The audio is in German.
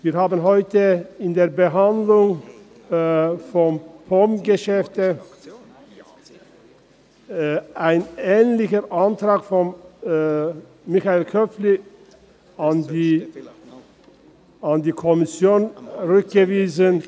Wir haben heute in der Behandlung von POM-Geschäften einen ähnlichen Antrag von Michael Köpfli an die Kommission zurückgewiesen.